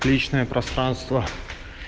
личное пространство